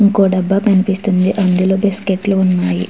ఇంకో డబ్బా కనిపిస్తుంది. అందులో బిస్కెట్లు ఉన్నాయి.